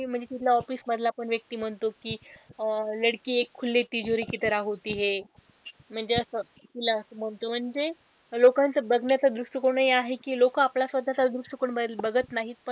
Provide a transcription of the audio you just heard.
म्हणजे तिथला office मधला पण व्यक्ती म्हणतो कि अह म्हणजे असं तिला असं म्हणतो म्हणजे लोकांचं बघण्याचा दृष्टिकोन हि आहे कि लोक आपला स्वतःचा दृष्टिकोन बघत नाहीत पण,